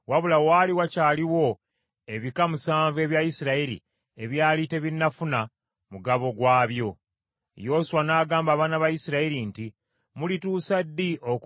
Yoswa n’agamba abaana ba Isirayiri nti, “Mulituusa ddi okulinda nga temunnafuna mugabo Mukama Katonda wa bajjajjammwe gwe yabawa?